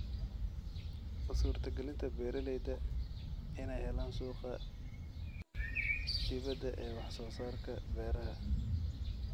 U suurtagelinta beeralayda inay helaan suuqa dibadda ee wax soo saarka beeraha.